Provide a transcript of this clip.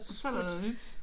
Så er der noget nyt